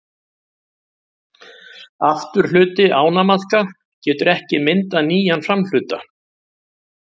Afturhluti ánamaðka getur ekki myndað nýjan framhluta.